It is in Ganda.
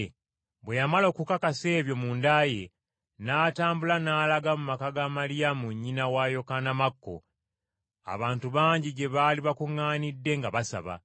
Bwe yamala okukakasa ebyo munda ye, n’atambula n’alaga mu maka ga Maliyamu nnyina wa Yokaana Makko, abantu bangi gye baali bakuŋŋaanidde nga basaba.